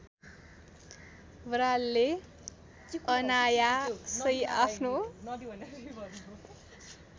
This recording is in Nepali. बरालले अनायासै आफ्नो